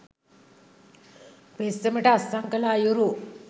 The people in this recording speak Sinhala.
පෙත්සමට අත්සන් කළ අයුරු